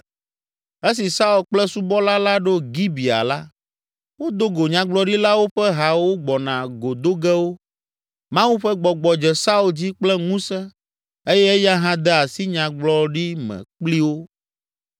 Esi Saul kple subɔla la ɖo Gibea la, wodo go Nyagblɔɖilawo ƒe ha wogbɔna go do ge wo. Mawu ƒe Gbɔgbɔ dze Saul dzi kple ŋusẽ eye eya hã de asi nyagbɔgblɔɖi me kpli wo.